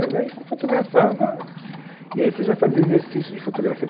Mas aí você fotografava, e aí você já fazia exercício de fotografia.